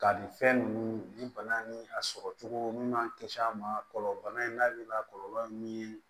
Ka nin fɛn ninnu ni bana ni a sɔrɔ cogo min man kisi a ma kɔlɔlɔ bana in n'a kɔlɔlɔ ye min ye